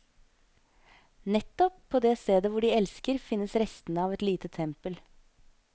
Nettopp på det stedet hvor de elsker, finnes restene av et lite tempel.